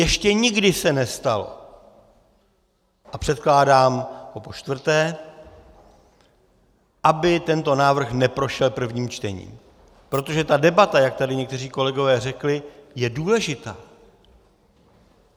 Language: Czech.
Ještě nikdy se nestalo, a předkládám ho počtvrté, aby tento návrh neprošel prvním čtením, protože ta debata, jak tady někteří kolegové řekli, je důležitá.